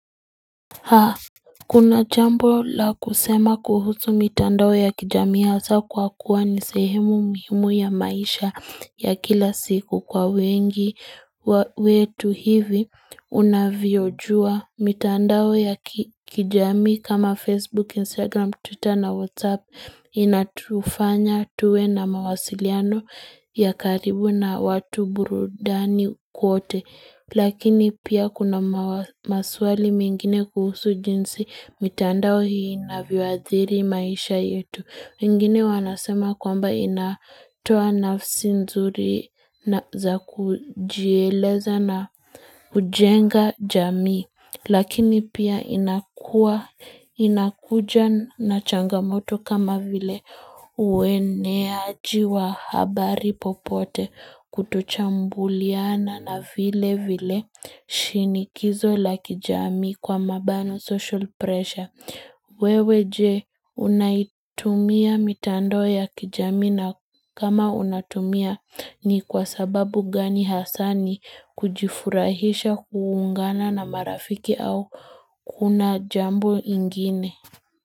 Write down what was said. Haa, kuna chambo la kusema kuhusu mitandawo ya kijami hasa kwa kuwa nisehemu mhimu ya maisha ya kila siku kwa wengi wetu hivi unavyojua mitandawo ya kijami kama Facebook, Instagram, Twitter na Whatsapp inatufanya tuwe na mawasiliano ya karibu na watu burudani kuote Lakini pia kuna maswali mengine kuhusu jinsi mitandao hii inayoadhiri maisha yetu. Mingine wanasema kwamba inatoa nafsi nzuri za kujieleza na ujenga jamii. Lakini pia inakuja na changamoto kama vile ueneaji wa habari popote kutochambuliana na vile vile shinikizo la kijami kwa mabano social pressure. Wewe je unaitumia mitandao ya kijami na kama unatumia ni kwa sababu gani hasani kujifurahisha kuungana na marafiki au kuna jambo ingine.